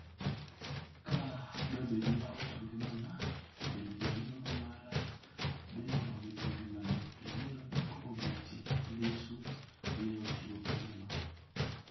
"Ka do bed ni awito ngimana to bende jariembo mara bende owito ngimane to yiero dak obetie?" Lissu ne ochiwo penjo no